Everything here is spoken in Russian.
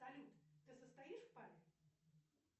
салют ты состоишь в паре